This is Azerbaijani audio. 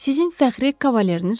sizin fəxri kavalerniz odur.